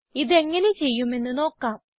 ഇതെങ്ങനെ ചെയ്യുമെന്ന് നോക്കാം